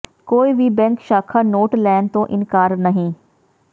ਕੋਈ ਵੀ ਬੈਂਕ ਸ਼ਾਖ਼ਾ ਨੋਟ ਲੈਣ ਤੋਂ ਇਨਕਾਰ ਨਹੀਂ